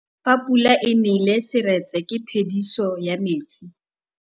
Fa pula e nelê serêtsê ke phêdisô ya metsi.